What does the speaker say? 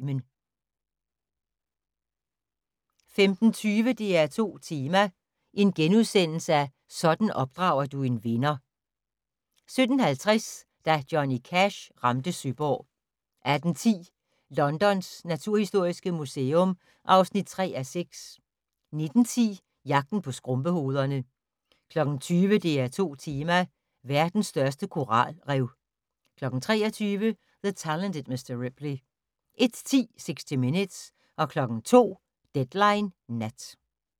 15:20: DR2 Tema: Sådan opdrager du en vinder * 17:50: Da Johnny Cash ramte Søborg 18:10: Londons naturhistoriske museum (3:6) 19:10: Jagten på skrumpehovederne 20:00: DR2 Tema: Verdens største koralrev 23:00: The Talented Mr. Ripley 01:10: 60 Minutes 02:00: Deadline Nat